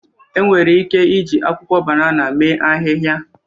Enwere ike iji akwụkwọ banana mee ahịhịa.